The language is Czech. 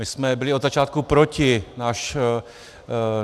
My jsme byli od začátku proti.